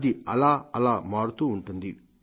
అది అలా అలా మారుతూ ఉంటుంది